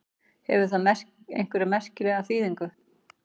Hefur það einhverja merkingu?